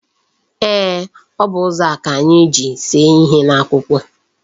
Eeh, O bu ụzọ a ka anyi ji see ihe n'akwụkwọ.